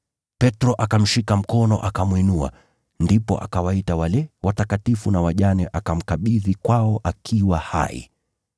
Petro akamshika mkono akamwinua, ndipo akawaita wale watakatifu na wajane akamkabidhi kwao akiwa hai.